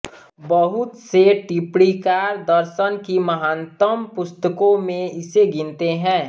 बहुत से टिप्पणीकार दर्शन की महानतम पुस्तकों में इसे गिनते हैं